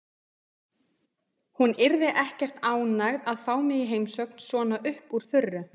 Hún yrði ekkert ánægð að fá mig í heimsókn svona upp úr þurru.